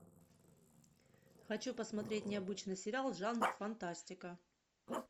хочу посмотреть необычный сериал жанр фантастика